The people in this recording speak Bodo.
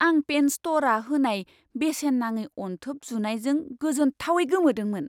आं पेन स्ट'रआ होनाय बेसेन नाङि अनथोब जुनायजों गोजोनथावै गोमोदोंमोन!